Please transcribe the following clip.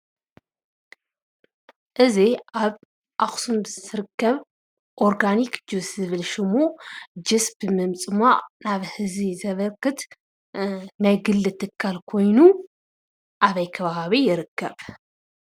እዚ አብ አክሱም ዝርከብ ኦርጋኒክ ጁስ ዝብል ሽሙ ጁስ ብምፅማቅ ናብ ህዝቢ ዘበርክት ናይ ግሊ ትካል ኮይኑ አበይ ከባቢ ይርከብ?